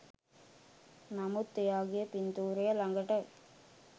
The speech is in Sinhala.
නමුත් එයාගෙ පින්තූරය ළඟට